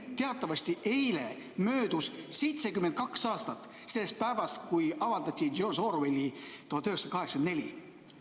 Teatavasti eile möödus 72 aastat sellest päevast, kui avaldati George Orwelli "1984".